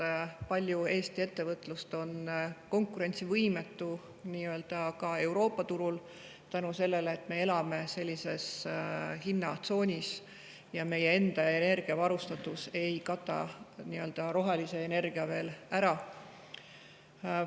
Eesti ettevõtlusest on Euroopa turul konkurentsivõimetu selle tõttu, et me elame sellises hinnatsoonis ja meie enda energiavarustatus ei kata rohelise energia tootmist veel ära.